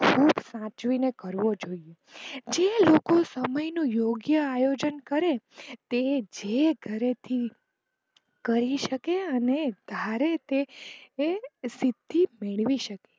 ખૂબ સાચવી ને કરવો જોઈએ જે લોકો સમય નું યોગ્ય અયોજન કરે તે જે ઘરેથી કરી શકે અને ધારે તે તે સિદ્ધિ મેળવી શકે છે.